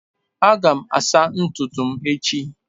Ị ga-asa ntutu m echi?